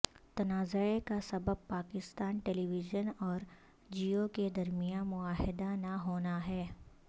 تنازعے کا سبب Pakistan television اور جیو کے درمیان معاہدہ نہ ہو نا ہے